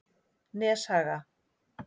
Neshaga